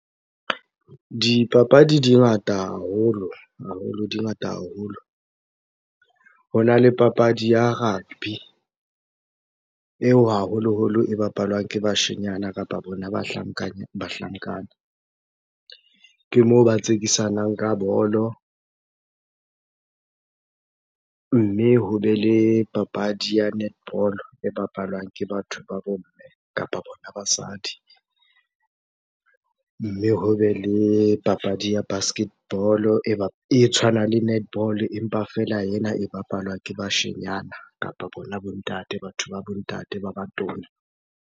Dipapadi di ngata haholo, di ngata haholo. Hona le papadi ya rugby eo haholoholo e bapalwang ke bashenyana kapo bona bahlankana, ke moo ba tsekisanang ka bolo. Mme, hobe le papadi ya netball-o e bapalwang ke batho ba bo mme kapa bona basadi. Mme hobe le papadi ya basketball-o e tshwanang le netball-o empa feela ena e bapalwa ke bashenyana kapa bona bo ntate, batho ba bo ntate ba batona.